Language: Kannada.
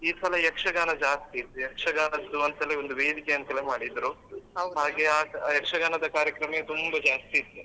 ಈ ಸಲ ಯಕ್ಷಗಾನ ಜಾಸ್ತಿ ಇತ್ತು ಯಕ್ಷಗಾನದ್ದು ಅಂತಲೇ ಒಂದು ವೇದಿಕೆ ಅಂತೆಲ್ಲ ಮಾಡಿದ್ರು ಹಾಗೆ ಆ ಯಕ್ಷಗಾನದ ಕಾರ್ಯಕ್ರಮ ತುಂಬಾ ಜಾಸ್ತಿ ಇತ್ತು.